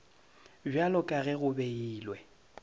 bjalo ka ge go beilwe